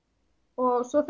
og svo